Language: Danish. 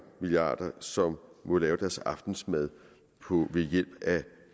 milliarder som må lave deres aftensmad ved hjælp af